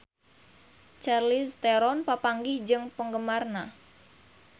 Charlize Theron papanggih jeung penggemarna